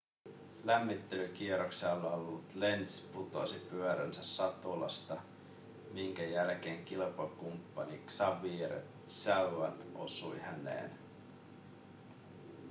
lämmittelykierroksella ollut lenz putosi pyöränsä satulasta minkä jälkeen kilpakumppani xavier zayat osui häneen